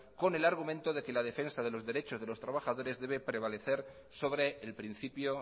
con el argumento de que la defensa de los derechos de los trabajadores debe prevalecer sobre el principio